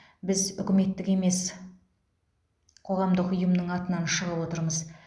біз үкіметтік емес қоғамдық ұйымның атынан шығып отырмыз